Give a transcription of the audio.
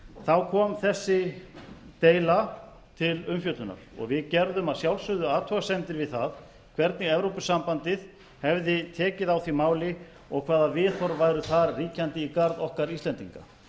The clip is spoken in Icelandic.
þá kom þessi deila til umfjöllunar við gerðum að sjálfsögðu athugasemdir við það hvernig evrópusambandið hefði tekið á því máli og hvaða viðhorf væru þar ríkjandi í garð okkar íslendinga